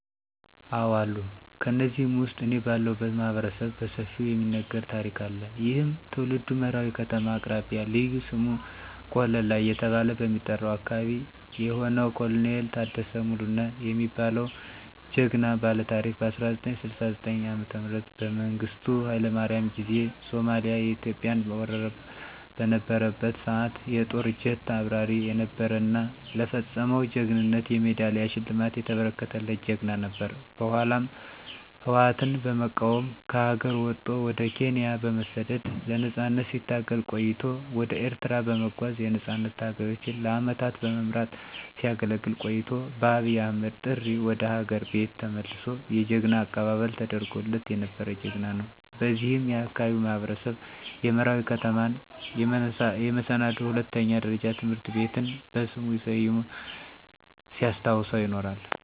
አዎ አሉ። ከነዚህም ውስጥ እኔ ባለሁለት ማህበረሰብ በሰፊው የሚነገር ታሪክ አለ። ይህም ትውልዱ መራዊ ከተማ አቅራቢያ ልዩ ስሙ ቆለላ እየተባለ በሚጠራው አካበቢ የሆነው ኮሎኔል ታደሰ ሙሉነህ የሚባለው ጀግና ባለታሪክ በ1969 ዓ.ም በመንግስቱ ሀይለማርያም ጊዜ ሶማሊያ ኢትዮጵያን ወራበት በነበረበት ሰዓት የጦር ጀት አብራሪ የነበረ እና ለፈፀመው ጀግንነት የሜዳሊያ ሽልማት የተበረከተለት ጀግና ነበር። በኃላም ህወአትን በመቃወም ከሀገር ወጦ ወደ ኬንያ በመሠደድ ለነፃነት ሲታገል ቆይቶ ወደ ኤርትራ በመጓዝ የነፃነት ታጋዮችን ለአመታት በመምራት ሲያገለግል ቆይቶ በአብይ አህመድ ጥሪ ወደ ሀገር ቤት ተመልሶ የጀግና አቀባበል ተደርጎለት የነበረ ጀግና ነው። በዚህም የአካባቢው ማህበረሰብ የመራዊ ከተማን የመሰናዶ ሁለተኛ ደረጃ ትምህርት ቤትን በሥሙ ሠይሞ ሲያስታውሰው ይኖራል።